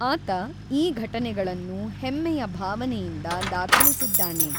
ಆತ ಈ ಘಟನೆಗಳನ್ನು ಹೆಮ್ಮೆಯ ಭಾವನೆಯಿಂದ ದಾಖಲಿಸಿದ್ದಾನೆ.